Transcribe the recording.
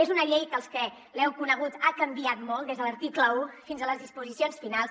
és una llei que els que l’heu conegut ha canviat molt des de l’article un fins a les disposicions finals